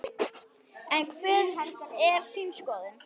En hver er þín skoðun?